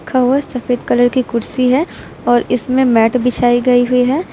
रखा हुआ है सफेद कलर की कुर्सी है और इसमें मैट बिछाई गई हुई है।